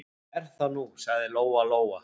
Er það nú, sagði Lóa-Lóa.